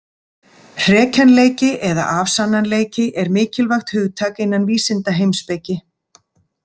Hrekjanleiki eða afsannanleiki er mikilvægt hugtak innan vísindaheimspeki.